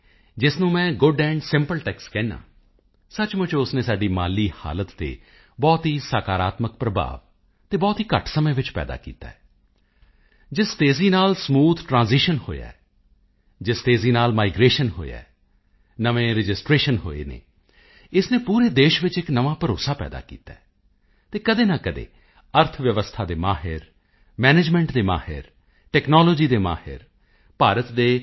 ਜਿਸ ਨੂੰ ਮੈਂ ਗੁਡ ਐਂਡ ਸਿੰਪਲ ਟੈਕਸ ਕਹਿੰਦਾ ਹਾਂ ਸਚਮੁੱਚ ਉਸ ਨੇ ਸਾਡੀ ਮਾਲੀ ਹਾਲਤ ਤੇ ਬਹੁਤ ਹੀ ਸਕਾਰਾਤਮਕ ਪ੍ਰਭਾਵ ਅਤੇ ਬਹੁਤ ਹੀ ਘੱਟ ਸਮੇਂ ਵਿੱਚ ਪੈਦਾ ਕੀਤਾ ਹੈ ਜਿਸ ਤੇਜ਼ੀ ਨਾਲ ਹੋਇਆ ਹੈ ਜਿਸ ਤੇਜ਼ੀ ਨਾਲ ਮਾਈਗ੍ਰੇਸ਼ਨ ਹੋਇਆ ਹੈ ਨਵੇਂ ਰਜਿਸਟ੍ਰੇਸ਼ਨ ਹੋਏ ਹਨ ਇਸ ਨੇ ਪੂਰੇ ਦੇਸ਼ ਵਿੱਚ ਇੱਕ ਨਵਾਂ ਭਰੋਸਾ ਪੈਦਾ ਕੀਤਾ ਹੈ ਅਤੇ ਕਦੇ ਨਾ ਕਦੇ ਅਰਥ ਵਿਵਸਥਾ ਦੇ ਮਾਹਿਰ ਮੈਨੇਜਮੈਂਟ ਦੇ ਮਾਹਿਰ ਟੈਕਨਾਲੋਜੀ ਦੇ ਮਾਹਿਰ ਭਾਰਤ ਦੇ ਜੀ